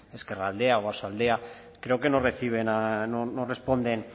ezkerraldea oarsoaldea creo que no responden